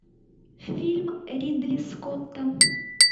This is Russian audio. фильм ридли скотта